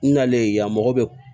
N nalen yan mɔgɔ bɛ